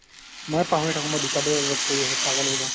মই পাহৰি থাকো মই দুটা দুটা job কৰি আছো পাগল হৈ যাও